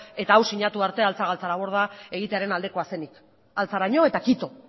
eta hau sinatu arte altza galtzaraborda egitearen aldekoa zenik altzaraino eta kito